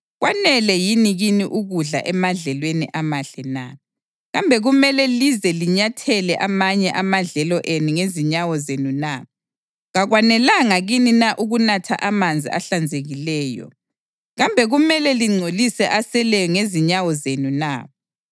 Kwanele yini kini ukudla emadlelweni amahle na? Kambe kumele lize linyathele amanye amadlelo enu ngezinyawo zenu na? Kakwanelanga kini na ukunatha amanzi ahlanzekileyo? Kambe kumele lingcolise aseleyo ngezinyawo zenu na?